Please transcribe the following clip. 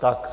Tak.